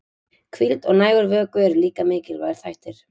Hvíld og nægur vökvi eru líka mikilvægir þættir.